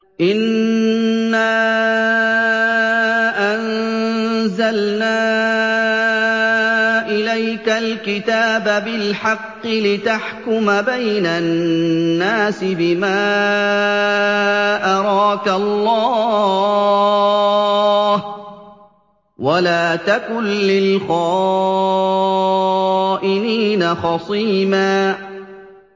إِنَّا أَنزَلْنَا إِلَيْكَ الْكِتَابَ بِالْحَقِّ لِتَحْكُمَ بَيْنَ النَّاسِ بِمَا أَرَاكَ اللَّهُ ۚ وَلَا تَكُن لِّلْخَائِنِينَ خَصِيمًا